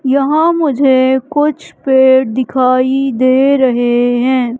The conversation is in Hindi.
यहां मुझे कुछ पेड़ दिखाई दे रहे हैं।